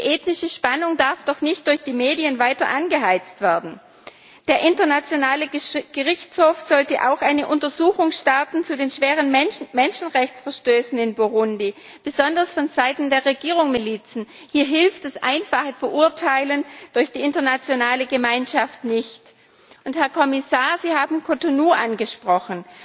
Diese ethnische Spannung darf doch nicht durch die Medien weiter angeheizt werden. Der Internationale Gerichtshof sollte auch eine Untersuchung starten zu den schweren Menschenrechtsverstößen in Burundi, besonders von Seiten der Regierungsmilizen. Hier hilft das einfache Verurteilen durch die internationale Gemeinschaft nicht. Herr Kommissar, Sie haben Cotonou angesprochen.